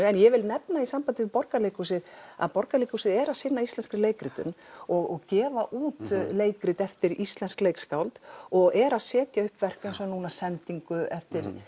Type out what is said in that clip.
en ég vil nefna í sambandi að Borgarleikhúsið að Borgarleikhúsið er að sinna íslenskri leikritun og gefa út leikrit eftir íslensk leikskáld og er að setja upp verk eins og sendingu eftir